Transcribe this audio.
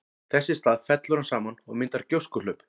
Þess í stað fellur hann saman og myndar gjóskuhlaup.